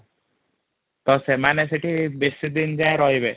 ତ ସେମାନେ ସେଠୀ ବେଶିଦିନ ଯଇଁ ରହିବେନି |